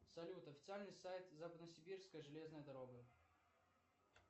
салют официальный сайт западно сибирская железная дорога